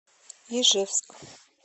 ижевск